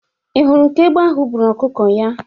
Ị hụrụ ka egbe ahụ buru ọkụkọ ya?